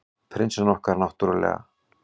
Prinsinn okkar, náttúrlega.